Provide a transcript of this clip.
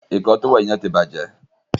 Ìkọ́ọ tówẹ́ẹ̀nù yen tí bàjé